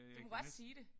Du må godt sige det